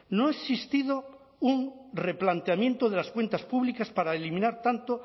no ha existido un replanteamiento de las cuentas públicas para eliminar tanto